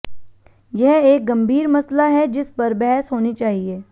यह एक गंभीर मसला है जिस पर बहस होनी चाहिए